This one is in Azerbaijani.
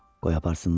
Qoy aparsınlar.